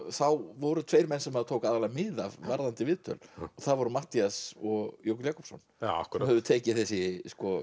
þá voru tveir menn sem maður tók aðallega mið af varðandi viðtöl það voru Matthías og Jökull Jakobsson sem höfðu tekið þessi